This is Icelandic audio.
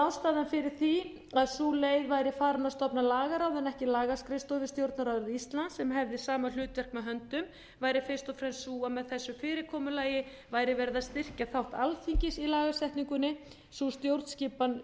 ástæðan fyrir því að sú leið væri farin hér að stofna lagaráð en ekki lagaskrifstofu við stjórnarráð íslands sem hefði sama hlutverk með höndum væri fyrst og fremst sú að með þessu fyrirkomulagi væri verið að styrkja þátt alþingis í lagasetningunni sú stjórnskipan